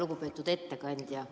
Lugupeetud ettekandja!